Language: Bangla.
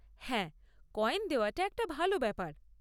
হ্যাঁ, কয়েন দেওয়াটা একটা ভাল ব্যাপার।